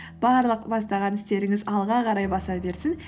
барлық бастаған істеріңіз алға қарай баса берсін